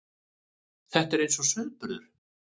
Þetta er eins og sauðburður.